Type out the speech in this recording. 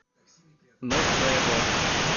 ноцебо